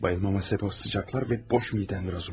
Huşumu itirməyimin səbəbi o istilər və boş mədəmdir, Razumixin.